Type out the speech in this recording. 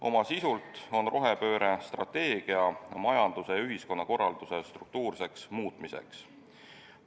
Oma sisult on rohepööre majanduse ja ühiskonnakorralduse struktuurse muutmise strateegia.